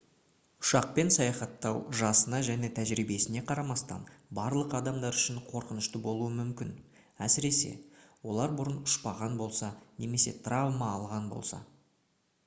ұшақпен саяхаттау жасына және тәжірибесіне қарамастан барлық адамдар үшін қорқынышты болуы мүмкін әсіресе олар бұрын ұшпаған болса немесе травма алған болса